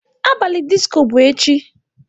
Abalị disco bụ echi.